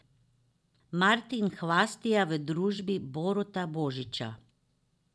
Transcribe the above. Martin Hvastija v družbi Boruta Božiča.